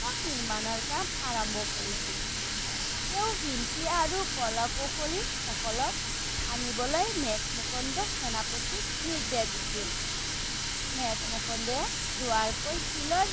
নিৰ্মাণৰ কাম আৰম্ভ কৰিছিল। তেওঁ শিল্পী আৰু কলা-কুশলি সকলক আনিবলৈ মেক-মুকুন্দ সেনাপতিক নিৰ্দেশ দিছিল। মেক-মুকুন্দই দুবাৰকৈ শিলৰ